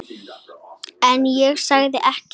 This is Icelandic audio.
En ég segi ekkert.